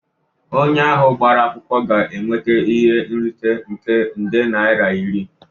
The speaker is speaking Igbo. Onye ahụ gbara akwụkwọ ga-enweta ihe nrite nke nde naira iri